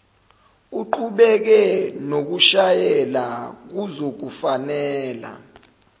uqhubeke nokushayela kuzokufanela